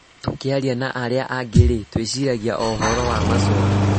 Tũkĩaria na arĩ angĩ rĩ, tũĩciragia o,ũhoro wa macokio